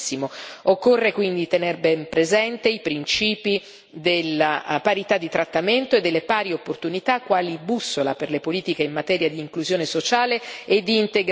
Occorre quindi tener ben presente i principi della parità di trattamento e delle pari opportunità, quali bussola per le politiche in materia di inclusione sociale e di integrazione.